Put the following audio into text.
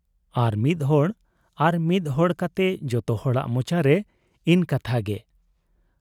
ᱟᱨ ᱢᱤᱫ ᱦᱚᱲ ᱟᱨ ᱢᱤᱫ ᱦᱚᱲ ᱠᱟᱛᱮ ᱡᱚᱛᱚ ᱦᱚᱲᱟᱜ ᱢᱚᱪᱟ ᱨᱮ ᱤᱱᱹ ᱠᱟᱛᱷᱟ ᱜᱮ ᱾